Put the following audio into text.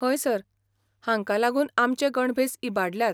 हय सर, हांका लागून आमचे गणभेस इबाडल्यात.